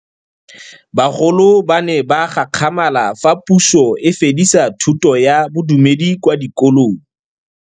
Bagolo ba ne ba gakgamala fa Pusô e fedisa thutô ya Bodumedi kwa dikolong.